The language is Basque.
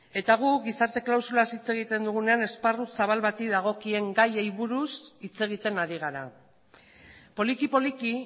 eta gu gizarte klausurak hitz egiten dugunean esparru zabal bati dagokien gaiei buruz hitz egiten ari gara poliki poliki